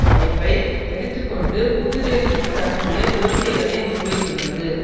வாய்ப்பை எடுத்து கொண்டு புது டெல்லிக்கு தன்னுடைய கோரிக்கைகளை முன்வைத்துள்ளது